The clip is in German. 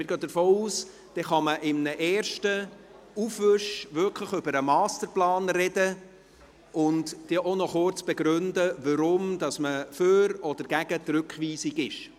Wir gehen davon aus, dass man dann in einem ersten Aufwasch wirklich über den Masterplan sprechen und auch noch kurz begründen kann, weshalb man für oder gegen die Rückweisung ist.